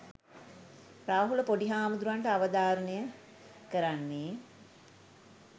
රාහුල පොඩි හාමුදුරුවන්ට අවධාරණය කරන්නේ